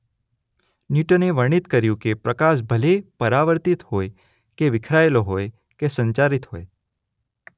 ન્યૂટને વર્ણિત કર્યું કે પ્રકાશ ભલે પરાવર્તિત હોય કે વિખેરાયેલો હોય કે સંચારિત હોય